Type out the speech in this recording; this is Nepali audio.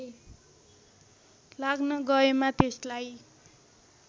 लाग्न गएमा त्यसलाई